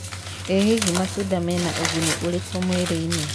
ĩ hihi matũnda mena ũnguni ũrĩkũ mwĩrĩ-inĩ